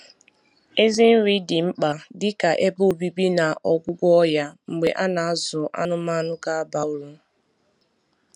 Ezi nri dị mkpa dị ka ebe obibi na ọgwụgwọ ọya mgbe a na-azụ anụmanụ ga-aba uru